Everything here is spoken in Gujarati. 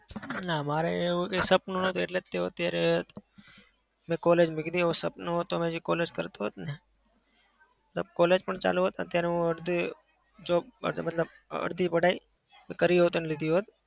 ના. મારે એવું કોઈ સપનું નતું. એટલે તો અત્યારે મેં college મૂકી દીધી. એવું સપનું હોય તો college કરતો હોત ને. મતલબ college પણ ચાલુ હોય અને અત્યારે હું અડધું job માટે મતલબ અડધી पढाई કરી હોત અને લીધી હોત